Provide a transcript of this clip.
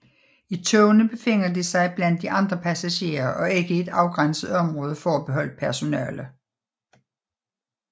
I togene befinder de sig blandt de andre passagerer og ikke i et afgrænset område forbeholdt personale